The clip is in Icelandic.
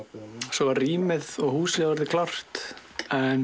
svo var rýmið og húsið og orðið klárt en